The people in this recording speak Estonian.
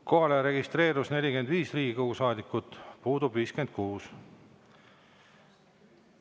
Kohalolijaks registreerus 45 Riigikogu liiget, puudub 56.